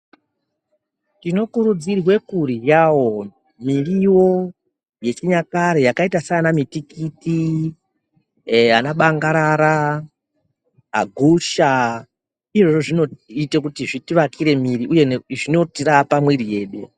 Tinokurudzirwe kuryavo mirivo yechinyakare yakaita sana mitikiti ee ana bangarara, agusha. Izvozvo zvinota kuti zviti akire mwiri uye zvinotirapa mwiri yedu.